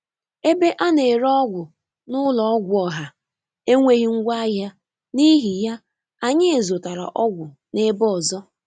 Ebe a na-ere ọgwụ n'ụlọ ọgwụ ọha enweghị ngwaahịa, n'ihi ya, anyị zụtara ọgwụ n'ebe ọzọ.